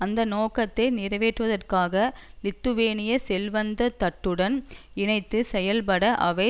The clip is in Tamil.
அந்த நோக்கத்தை நிறைவேற்றுவதற்காக லித்துவேனிய செல்வந்த தட்டுடன் இணைந்து செயல்பட அவை